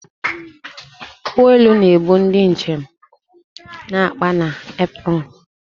Ụgbọ elu na-ebu ndị njem na akpa na apron